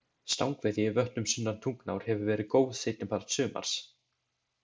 Stangveiði í vötnum sunnan Tungnár hefur verið góð seinni part sumars.